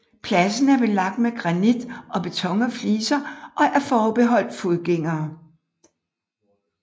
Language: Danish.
Pladsen er belagt med granit og beton fliser og er forbeholdt fodgængere